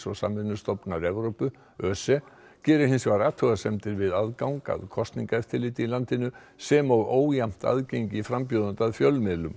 og samvinnustofnunar Evrópu ÖSE gerir hins vegar athugasemdir við aðgang að kosningaeftirliti í landinu sem og ójafnt aðgengi frambjóðenda að fjölmiðlum